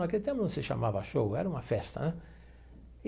Naquele tempo não se chamava show, era uma festa, né?